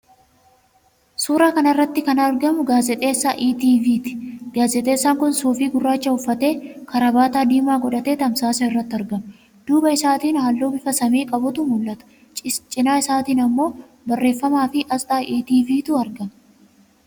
Suuraa kana irratti kan argamu gaazexeessaa ETV'ti. Gaazexeessaan kun suufii gurraacha uffatee, kaarabaata diimaa godhatee tamsaasa irratti argama. Duuba isaatiin halluu bifa samii qabutu mul'ata. Cina isaatiin immoo barreeffamaafi aasxaa ETV'tu argama.